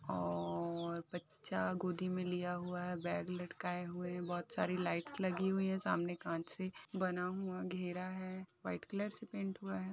ओ बच्चा गोदी में लिया हुआ है बैग लटकाये हुए है बहुत सारी लाइट्स लगी हुई है सामने कांच से बना हुआ घेरा है वाइट कलर से पेंट हुआ है |